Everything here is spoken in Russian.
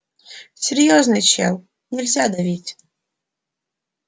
серьёзный чел нельзя давить